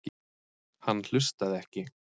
Hann hlustaði ekki.